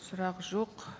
сұрақ жоқ